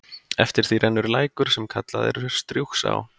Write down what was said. Eftir því rennur lækur, sem kallaður er Strjúgsá.